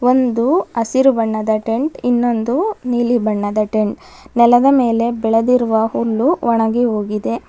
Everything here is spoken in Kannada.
ಒಂದು ಹಸಿರು ಬಣ್ಣದ ಟೆಂಟ್ ಇನ್ನೊಂದು ನೀಲಿ ಬಣ್ಣದ ಟೆಂಟ್ ನೆಲದ ಮೇಲೆ ಬೆಳೆದಿರುವ ಹುಲ್ಲು ಒಣಗಿ ಹೋಗಿದೆ.